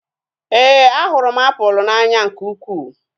Éè, a hụrụ m apụl n'anya nke ukwuu